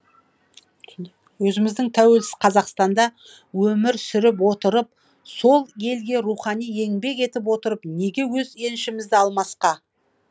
өзіміздің тәуелсіз қазақстанда өмір сүріп отырып сол елге рухани еңбек етіп отырып неге өз еншімізді алмасқа